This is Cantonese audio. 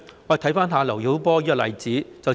看看劉曉波的例子便知道。